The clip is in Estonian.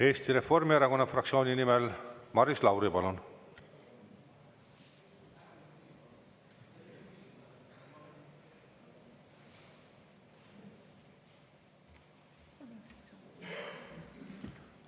Eesti Reformierakonna fraktsiooni nimel Maris Lauri, palun!